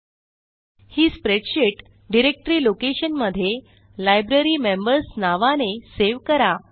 एलटीपॉजेग्ट ही spreadsheet directory लोकेशनमध्ये library members नावाने सेव्ह करा